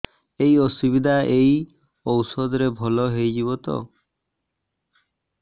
ଏଇ ଅସୁବିଧା ଏଇ ଔଷଧ ରେ ଭଲ ହେଇଯିବ ତ